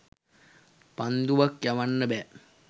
පන්දුවක් යවන්න බෑ.